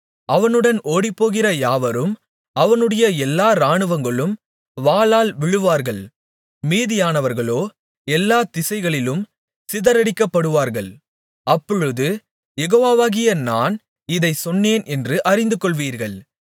அவனுடன் ஓடிப்போகிற யாவரும் அவனுடைய எல்லா இராணுவங்களும் வாளால் விழுவார்கள் மீதியானவர்களோ எல்லா திசைகளிலும் சிதறடிக்கப்படுவார்கள் அப்பொழுது யெகோவாகிய நான் இதைச் சொன்னேன் என்று அறிந்துகொள்வீர்கள்